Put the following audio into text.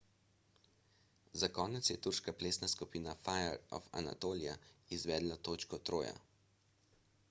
za konec je turška plesna skupina fire of anatolia izvedla točko troja